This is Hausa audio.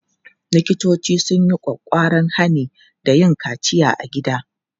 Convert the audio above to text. Likitoci sun yi ƙwaƙƙwaran hani da yin kaciya a gida.